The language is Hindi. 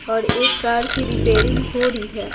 और एक कार की रिपेयरिंग हो रही है।